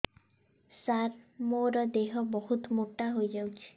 ସାର ମୋର ଦେହ ବହୁତ ମୋଟା ହୋଇଯାଉଛି